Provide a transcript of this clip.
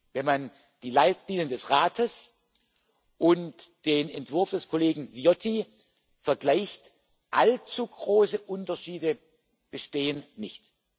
Wenn man die Leitlinien des Rates und den Entwurf des Kollegen Viotti vergleicht allzu große Unterschiede bestehen nicht.